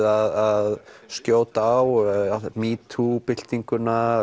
að skjóta á metoo byltinguna